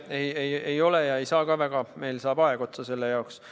Ei, ei ole tulemas ja ei saa ka tulla, meil saab selleks aeg otsa.